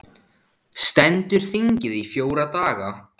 Stendur þingið í fjóra daga